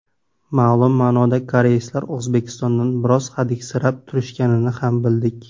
Ma’lum ma’noda koreyslar O‘zbekistondan biroz hadiksirab turishganini ham bildik.